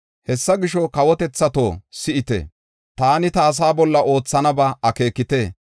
“Hessa gisho, kawotethato, si7ite! Taani ta asaa bolla oothanaba akeekite.